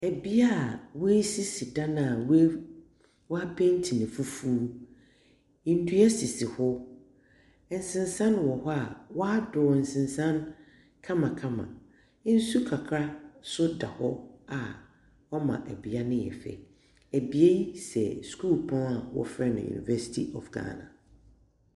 Ebia a wesisi dan na w'apeinti no foforo. Ndua sisi hɔ, nsinsan wɔ hɔ a wadɔn nsisan no ho kamakama. Nsu kakraa so da hɔ a wama ebia no ayɛ fɛ. Ebia yi sɛ sukuu pɔn a wɔfrɛ no Univɛsiti ɔf Ghana.